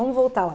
Vamos voltar